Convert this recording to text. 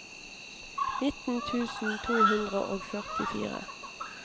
nitten tusen to hundre og førtifire